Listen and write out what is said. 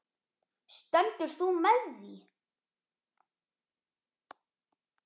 Stendur þú með því?